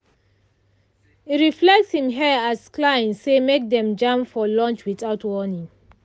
e re-fix him hair as client say make dem jam for lunch without warning.